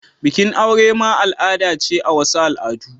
Bikin aure ma al'ada ce a wasu al'adu.